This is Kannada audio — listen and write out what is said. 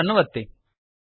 ಸೇವ್ ಅನ್ನುಒತ್ತಿ